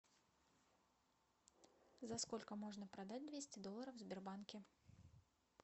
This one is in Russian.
за сколько можно продать двести долларов в сбербанке